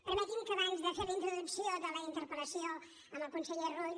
permeti’m que abans de fer la introducció de la interpel·lació al conseller rull